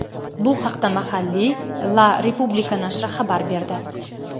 Bu haqda mahalliy "La Repubblica" nashri xabar berdi.